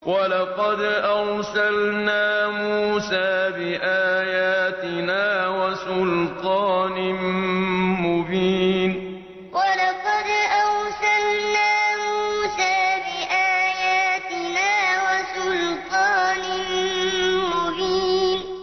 وَلَقَدْ أَرْسَلْنَا مُوسَىٰ بِآيَاتِنَا وَسُلْطَانٍ مُّبِينٍ وَلَقَدْ أَرْسَلْنَا مُوسَىٰ بِآيَاتِنَا وَسُلْطَانٍ مُّبِينٍ